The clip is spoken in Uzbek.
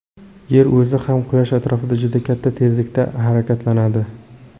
Yer o‘zi ham Quyosh atrofida juda katta tezlikda harakatlanadi.